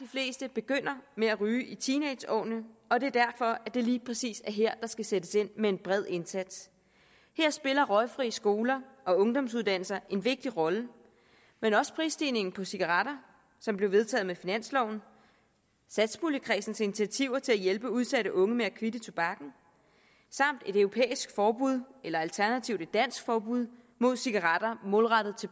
fleste begynder med at ryge i teenageårene og det er derfor at det lige præcis er her der skal sættes ind med en bred indsats her spiller røgfri skoler og ungdomsuddannelser en vigtig rolle men også prisstigningen på cigaretter som blev vedtaget med finansloven satspuljekredsens initiativer til at hjælpe udsatte unge med at kvitte tobakken et europæisk forbud eller alternativt et dansk forbud mod cigaretter målrettet